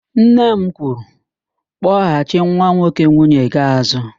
Nne m kwuru, "kpọghachị nwa nwoke nwunye gị àzụ́"!